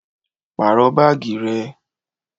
Pàrọ baagi rẹ!